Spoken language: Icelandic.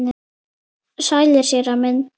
Sælir, séra minn.